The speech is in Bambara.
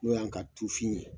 N'o y'an ka tufin ye